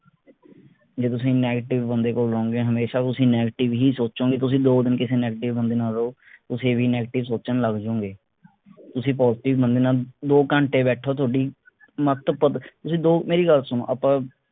ਜੇ ਤੁਸੀਂ negative ਬੰਦੇ ਕੋਲ ਰਹੋਗੇ ਹਮੇਸ਼ਾ ਤੁਸੀਂ negative ਹੀ ਸੋਚੋਗੇ ਤੁਸੀਂ ਦੋ ਦਿਨ ਕਿਸੇ negative ਬੰਦੇ ਨਾਲ ਰਹੋ ਤੁਸੀਂ ਵੀ negative ਸੋਚਣ ਲੱਗ ਜਾਓਂਗੇ ਤੁਸੀਂ positive ਬੰਦੇ ਨਾਲ ਦੋ ਘੰਟੇ ਬੈਠੋ ਥੋਡੀ ਮਤਬੁੱਧ ਜਿਹੜੀ ਦੋ ਮੇਰੀ ਗੱਲ ਸੁਣੋ ਆਪਾਂ